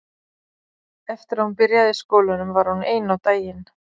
Eftir að hún byrjaði í skólanum var hún ein á daginn.